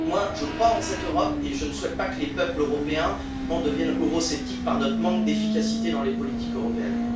Je crois en cette Europe et je ne souhaite pas que les peuples européens deviennent eurosceptiques par notre manque d'efficacité dans les politiques européennes.